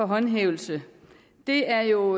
håndhævelse det er jo